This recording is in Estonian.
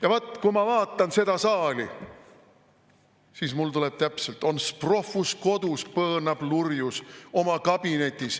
Ja vot, kui ma vaatan seda saali, siis mul tuleb täpselt, et on's prohvus kodus, põõnab lurjus oma kabinetis.